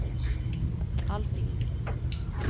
Alfhild